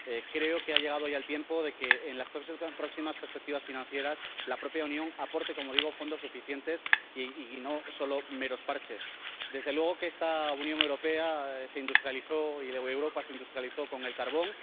Creo que ha llegado ya el tiempo de que, en las próximas perspectivas financieras, la propia Unión aporte —como digo— fondos suficientes, y no solo meros parches. Desde luego que esta Unión Europea se industrializó y Europa se industrializó con el carbón.